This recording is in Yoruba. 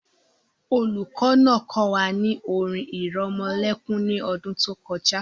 The teacher taught us a luallaby last year